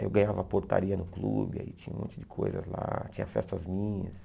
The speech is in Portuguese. Aí eu ganhava portaria no clube, aí tinha um monte de coisas lá, tinha festas minhas.